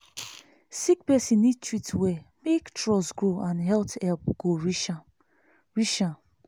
sick person need treat well make trust grow and health help go reach am. reach am.